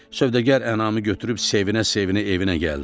Sövdəgar ənamı götürüb sevinə-sevinə evinə gəldi.